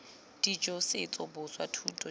dijo setso boswa thuto jj